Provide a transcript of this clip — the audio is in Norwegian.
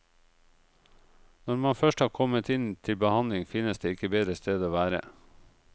Når man først har kommet inn til behandling, finnes det ikke bedre sted å være.